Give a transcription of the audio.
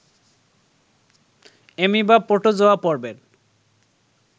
amoeba protozoa পর্বের